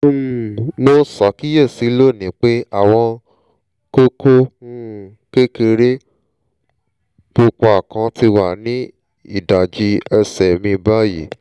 um mo ṣàkíyèsí lónìí pé àwọn kókó um kékeré pupa kan ti wà ní ìdajì ẹsẹ̀ mi báyìí